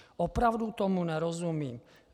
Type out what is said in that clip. Opravdu tomu nerozumím.